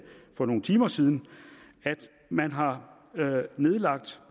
for nogle timer siden at man har nedlagt